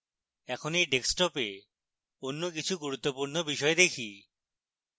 এখন এই ডেস্কটপে অন্য কিছু গুরুত্বপূর্ণ বিষয় দেখি